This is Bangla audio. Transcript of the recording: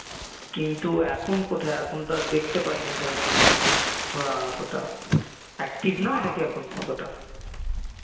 কিন্তু এখন কোথায়, এখন তো আর দেখতে পাইনা সেরমকিছু বা অতোটা active নয় নাকি অতোটা?